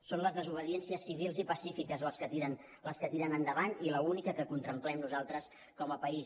són les desobediències civils i pacífiques les que tiren endavant i l’única que contemplem nosaltres com a país